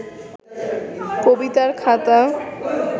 কবিতার খাতা